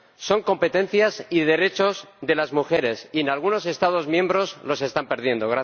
Son competencias y derechos de las mujeres, y en algunos Estados miembros los están perdiendo.